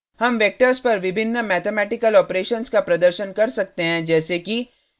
हम वेक्टर्स पर विभिन्न मैथमेटिकल ऑपरेशंस का प्रदर्शन कर सकते हैं जैसे कि